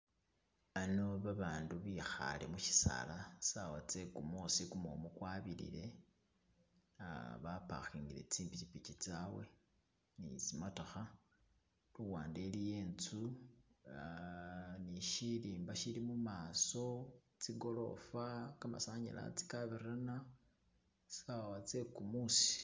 Ano babandu bekhale mushisala, sawa tse kumusi kumumu kwabilile, ah bapakingile tsi pikipiki tsabwe ni tsimatokha, luwande iliyo inzu, ah ne shirimba shili mumaso, tsigolofa, kamasanyalasi kabirana sawa tse kumusi.